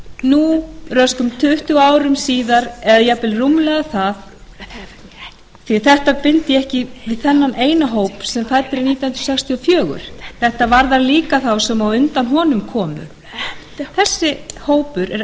nú röskum tuttugu árum síðar eða jafnvel rúmlega það því að þetta bind ég ekki við þennan eina hóp sem fæddur er nítján hundruð sextíu og fjögur þetta varðar líka þá sem á undan honum komu heyr þessi hópur